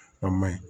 A ma ɲi